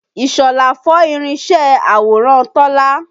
Ìṣọ̀lá fọ́ irinṣẹ́ àwòrán Tọ́lá.